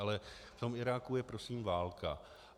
Ale v tom Iráku je prosím válka.